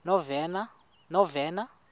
novena